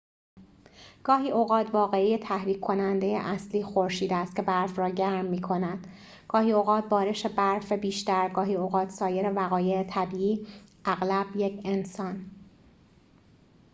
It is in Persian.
گاهی اوقات واقعه تحریک کننده اصلی خورشید است که برف را گرم می کند گاهی اوقات بارش برف بیشتر گاهی اوقات سایر وقایع طبیعی اغلب یک انسان